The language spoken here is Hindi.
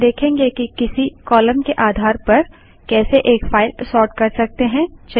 अब हम देखेंगे कि किसी कालम के आधार पर कैसे एक फाइल सोर्ट कर सकते हैं